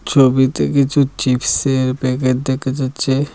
ছবিতে কিছু চিপসের প্যাকেট দেখা যাচ্ছে।